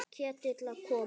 Ketill að koma?